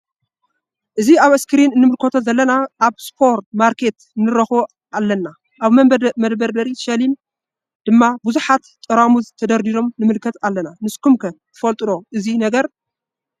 እዚ አብ እስክሪን እንምልከቶ ዘለና አብ ስፖር ማርኬት ንረክቦ አለና ::አብ መደርደሪ ሸልፍ ድማ ቡዙሓት ጠራሙዝ ተደርዲሮም ንምልከት አለና ::ንስኩም ከ ትፈልጥዎ ዶ እዚ ነገር?